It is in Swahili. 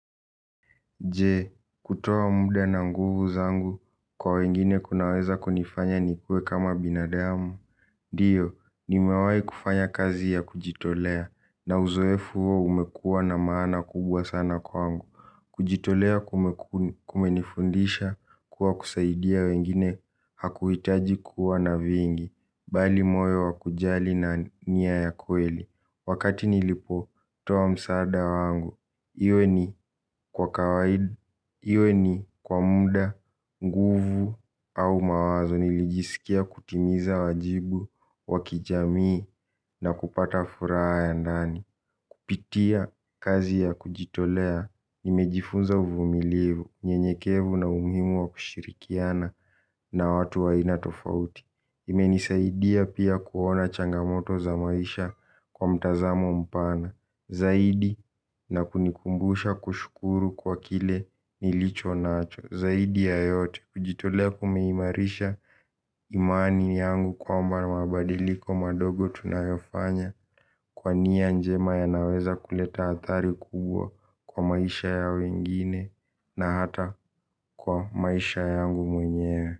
Je, kutoa muda na nguvu zangu kwa wengine kunaweza kunifanya nikue kama binadamu. Diyo, nimewai kufanya kazi ya kujitolea na uzoefu huo umekua na maana kubwa sana kwangu. Kujitolea kumenifundisha kuwa kusaidia wengine hakuhitaji kuwa na vingi, bali moyo wa kujali na nia ya kweli. Wakati nilipo, toa msaada wangu iwe ni kwa kawaidi iwe ni kwa muda, nguvu au mawazo nilijisikia kutimiza wajibu, wa kijamii na kupata furaha ya ndani. Kupitia kazi ya kujitolea nimejifunza uvumilivu, nyenyekevu na umuhimu wa kushirikiana na watu wa aina tofauti. Imenisaidia pia kuona changamoto za maisha kwa mtazamo mpana zaidi na kunikumbusha kushukuru kwa kile nilicho nacho. Zaidi ya yote kujitolea kumeimarisha imani yangu kwamba na mabadiliko madogo tunayofanya. Kwa nia njema ya naweza kuleta athari kubwa kwa maisha ya wengine na hata kwa maisha yangu mwenyewe.